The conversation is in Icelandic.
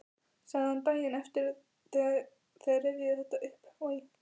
sagði hann daginn eftir þegar þeir rifjuðu þetta upp: Oj!